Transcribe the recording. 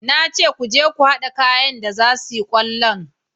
Na ce ku je ku hada wayanda za su yi kwallon